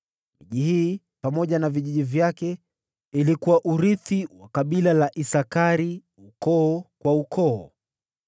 Miji hii pamoja na vijiji vyake ilikuwa urithi wa kabila la Isakari, ukoo kwa ukoo.